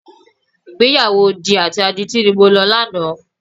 Ìgbéyàwó odi àti adití ni mo lọ lánàá.